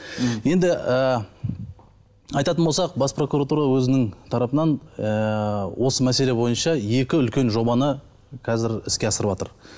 м енді ы айтатын болсақ бас прокуратура өзінің тарапынан ы осы мәселе бойынша екі үлкен жобаны қазір іске асырыватыр